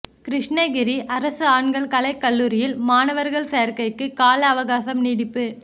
கிருஷ்ணகிரி அரசு ஆண்கள் கலைக் கல்லூரியில் மாணவா் சோ்க்கைக்கு கால அவகாசம் நீட்டிப்பு